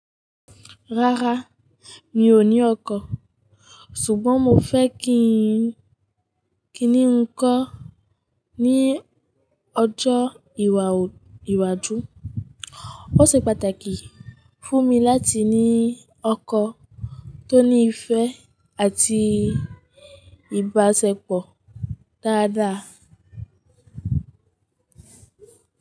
Rárá, mi ò ní ọkọ̀, ṣùgbọ́n mo fẹ́ kí ńi nkan ní ọjọ́ ìwà ìwàju. Ó ṣe pàtàkì fún mi láti ní ọkọ̀ tó ní ìfẹ́ àti ìbáṣepọ̀ dáadáa.